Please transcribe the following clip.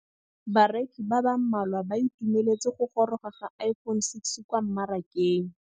Bareki ba ba malwa ba ituemeletse go gôrôga ga Iphone6 kwa mmarakeng.